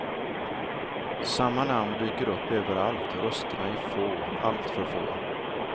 Samma namn dyker upp överallt och rösterna är få, alltför få.